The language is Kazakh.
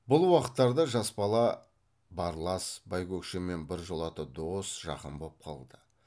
бұл уақыттарда жас бала барлас байкөкшемен біржолата дос жақын боп қалды